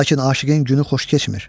Lakin aşiqin günü xoş keçmir.